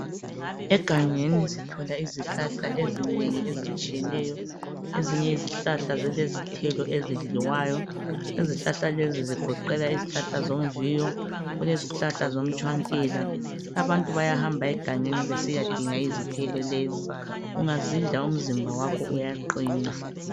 egangeni sithola izihlahla ezinengi ezitshiyeneyo ezinye izihlahla zilezithelo ezidliwayo izihlahla lezi zigoqela izihlahla zomviyo kulezihlahla zomtshwankela abantu bayahamba egangeni besiyadinga izithelo lezi ungazidla umzimba wakho uyaqina